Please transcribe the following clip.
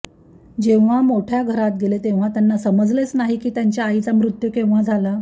जेव्हा मोठ्या घरात गेले तेव्हा त्यांना समजलेच नाही की त्यांच्या आईचा मृत्यू केव्हा झाला